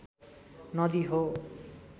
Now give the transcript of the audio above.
नदी हो